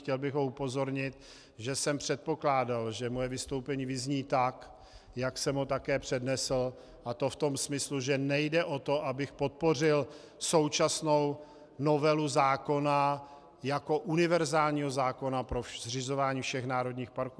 Chtěl bych ho upozornit, že jsem předpokládal, že moje vystoupení vyzní tak, jak jsem ho také přednesl, a to v tom smyslu, že nejde o to, abych podpořil současnou novelu zákona jako univerzálního zákona pro zřizování všech národních parků.